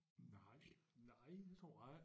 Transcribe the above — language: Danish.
Nej det nej det tror jeg ik